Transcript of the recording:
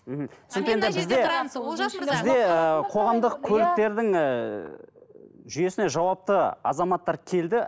бізде ыыы қоғамдық көліктердің ыыы жүйесіне жауапты азаматтар келді